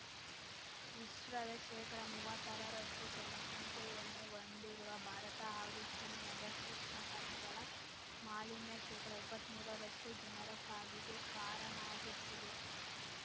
ವಿಶ್ವದ ಶೇಕಡಮುವ್ವತ್ತಾರರಷ್ಟುಜನಸಂಖ್ಯೆಯನ್ನು ಹೊಂದಿರುವ ಭಾರತ ಹಾಗೂ ಚೀನಾದ ಸೂಕ್ಷ್ಮ ಕಣಗಳ ಮಾಲಿನ್ಯ ಶೇಕಡಎಪ್ಪತ್ಮೂರರಷ್ಟುಜನರ ಸಾವಿಗೆ ಕಾರಣಗುತ್ತಿದೆ